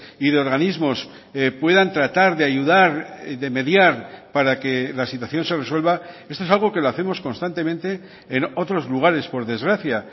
y de organismos puedan tratar de ayudar de mediar para que la situación se resuelva esto es algo que lo hacemos constantemente en otros lugares por desgracia